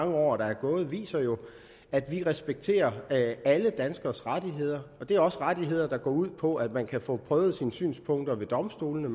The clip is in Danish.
mange år der er gået jo viser at vi respekterer alle danskeres rettigheder og det er også rettigheder der går ud på at man kan få prøvet sine synspunkter ved domstolene